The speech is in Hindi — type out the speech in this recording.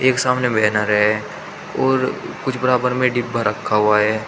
एक सामने बैनर है और कुछ बराबर में डिब्बा रखा हुआ है।